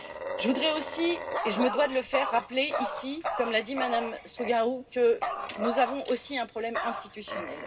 Je voudrais aussi, et je me dois de le faire, rappeler ici, comme l'a dit Mme Strugariu, que nous avons aussi un problème institutionnel.